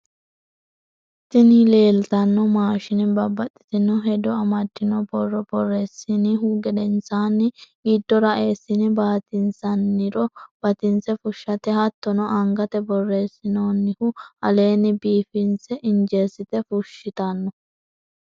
Tini leeltanno maashine babaxitinno hedo amaddinno borro borreessinihu gedensanni giddora eessine batinsannirro batinse fushshate hattono angate borressinnonnihu aleenni biifissenna injesite fushshitanno.